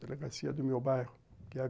Delegacia do meu bairro, que é a